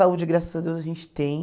Saúde, graças a Deus, a gente tem.